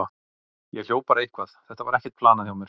Ég hljóp bara eitthvað, þetta var ekkert planað hjá mér.